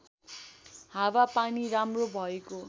हावापानी राम्रो भएको